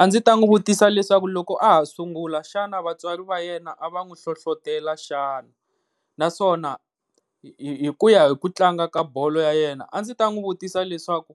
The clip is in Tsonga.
A ndzi ta n'wi vutisa leswaku loko a ha sungula xana vatswari va yena a va n'wi hlohlotela xana, naswona hikuya hi ku tlanga ka bolo ya yena a ndzi n'wi vutisa leswaku